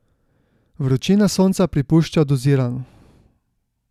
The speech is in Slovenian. Vročina sonca pripušča dozirano.